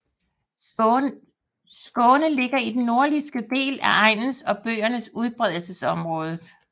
Skåne ligger i den nordlige del af egens og bøgens udbredelsesområde